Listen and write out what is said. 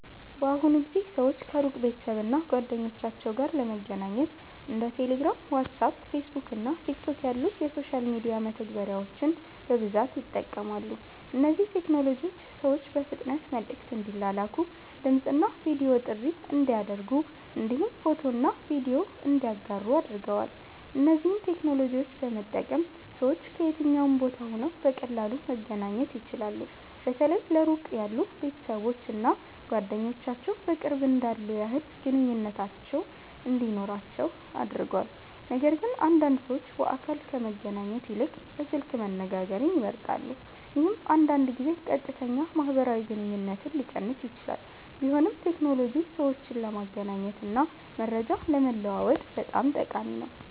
በአሁኑ ጊዜ ሰዎች ከሩቅ ቤተሰብ እና ጓደኞቻቸው ጋር ለመገናኘት እንደ ቴሌግራም፣ ዋትስአፕ፣ ፌስቡክ እና ቲክቶክ ያሉ የሶሻል ሚዲያ መተግበሪያዎችን በብዛት ይጠቀማሉ። እነዚህ ቴክኖሎጂዎች ሰዎች በፍጥነት መልዕክት እንዲላላኩ፣ ድምፅ እና ቪዲዮ ጥሪ እንዲያደርጉ እንዲሁም ፎቶና ቪዲዮ እንዲያጋሩ አድርገዋል። እነዚህን ቴክኖሎጂዎች በመጠቀም ሰዎች ከየትኛውም ቦታ ሆነው በቀላሉ መገናኘት ይችላሉ። በተለይ ለሩቅ ያሉ ቤተሰቦች እና ጓደኞች በቅርብ እንዳሉ ያህል ግንኙነት እንዲኖራቸው አድርጓል። ነገርግን አንዳንድ ሰዎች በአካል ከመገናኘት ይልቅ በስልክ መነጋገርን ይመርጣሉ፣ ይህም አንዳንድ ጊዜ ቀጥተኛ ማህበራዊ ግንኙነትን ሊቀንስ ይችላል። ቢሆንም ቴክኖሎጂ ሰዎችን ለመገናኘት እና መረጃ ለመለዋወጥ በጣም ጠቃሚ ነው።